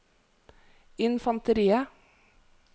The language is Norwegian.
infanteriet